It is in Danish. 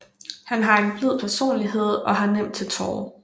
Han har en blid personlighed og har nemt til tårer